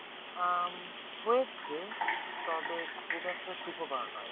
আহ হয়েছে তবে খুব একটা সুখকর নয়